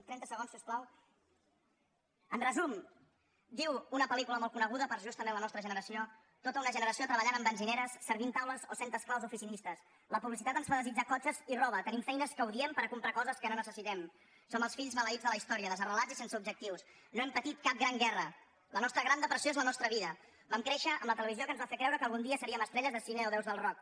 trenta segons si us plau en resum diu una pel·lícula molt coneguda per a justament la nostra generació tota una generació treballant en benzineres servint taules o sent esclaus oficinistes la publicitat ens fa desitjar cotxes i roba tenim feines que odiem per comprar coses que no necessitem som els fills maleïts de la història desarrelats i sense objectius no hem petit cap gran guerra la nostra gran depressió és la nostra vida vam créixer amb la televisió que ens va fer creure que algun dia seríem estrelles de cine o déus del rock